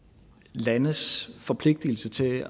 landes forpligtelse til